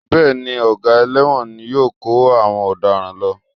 Bẹ́ẹ̀ ni, ọ̀gá ẹlẹ́wọ̀n ni yóò kó àwọn ọ̀daràn lọ